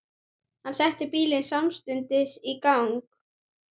Hann setti bílinn samstundis í gang.